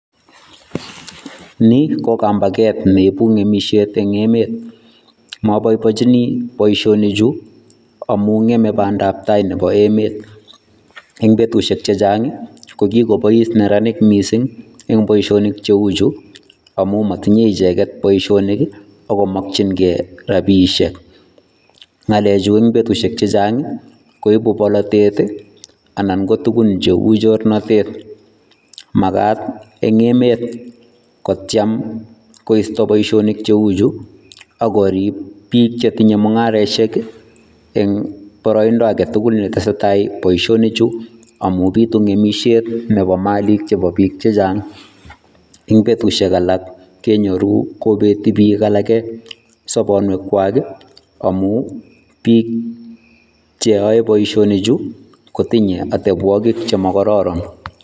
Nii ko kambaket neibu ng'emishet en emet, moboiboinchini boishonichu amun ng'eme bandab taai nebo emet, eng ' betushek chechang ko kikobois neranik mising en boishonik cheu chuu amun motinye icheket boishonik ak komokying'e rabishek, ng'alechu en betushek chechang koibu bolatet anan ko tukun cheuu chornatet, makaat eng emet kotiem koisto boishonik cheuchu ak korib biik chetinye mung'areshek eng' boroindo aketukul netesetai boishonichu amun bitu ng'emishet nebo Malik nebo biik chechang, eng' betushek alak kenyoru kobeti biik alak sobonuekwak amun biik cheyoe boishonichu kotinye atebwokik chemokororon.